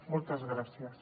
moltes gràcies